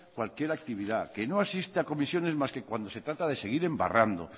cualquier actividad que no asiste a comisiones más que cuando se trata de seguir embarrando